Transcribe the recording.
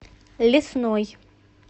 лесной